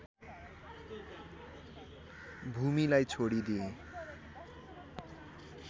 भूमिलाई छोडी दिए